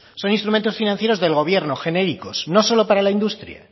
son instrumentos financieros del gobierno genéricos no solo para la industria